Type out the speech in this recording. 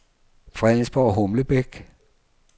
Fredensborg-Humlebæk